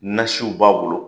Nasiw b'a bolo